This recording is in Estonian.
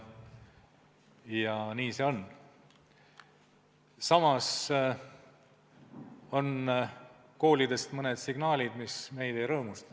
Samas on tulnud koolidest mõned signaalid, mis meid ei rõõmusta.